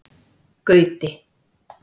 Gauti